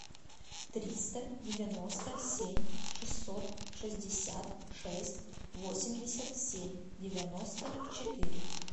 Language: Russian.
триста девяносто семь шестьсот шестьдесят шесть восемьдесят семь девяносто четыре